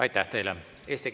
Aitäh teile!